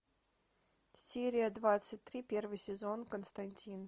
серия двадцать три первый сезон константин